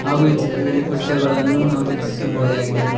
ಹಾಗು ಈ ಚಿತ್ರದಲ್ಲಿ ಕುರ್ಚಗಳನ್ನು ನಾವು ವೀಕ್ಷಿಸಬಹುದಾಗಿದೆ.